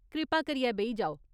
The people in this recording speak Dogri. कृपा करियै बेही जाओ।